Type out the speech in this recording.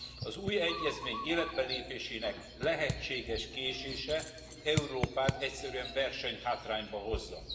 Az új egyezmény életbelépésének lehetséges késése Európát egyszerűen versenyhátrányba hozza.